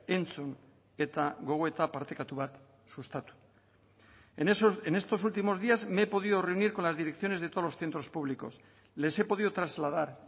entzun eta gogoeta partekatu bat sustatu en estos últimos días me he podido reunir con las direcciones de todos los centros públicos les he podido trasladar